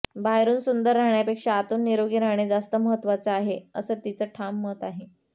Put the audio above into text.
बाहेरून सुंदर राहण्यापेक्षा आतून निरोगी राहणे जास्त महत्त्वाचं आहे असं तिचं ठाम मत आहे